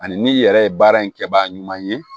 Ani n'i yɛrɛ ye baara in kɛbaga ɲuman ye